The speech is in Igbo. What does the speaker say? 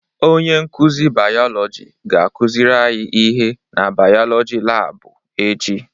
Onye nkuzi bayolọjị ga-akuziri anyi ihe na bayolọjị laabụ echi.